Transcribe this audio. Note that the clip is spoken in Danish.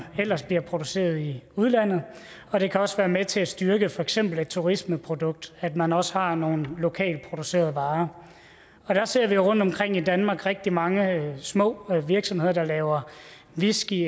ellers bliver produceret i udlandet og det kan også være med til at styrke for eksempel et turismeprodukt at man også har nogle lokalt producerede varer der ser vi rundtomkring i danmark rigtig mange små virksomheder der laver whisky